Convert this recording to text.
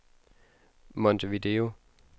Montevideo